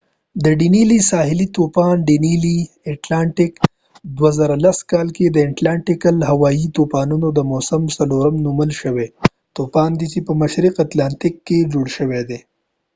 ساحلی طوفان ډینیلی danielle د 2010کال د اتلانتیکل atlantic د هوایي طوفانود موسم څلورم نومول شوي طوفان دي چې په مشرقی اتلانتیک کې جوړ شوي دي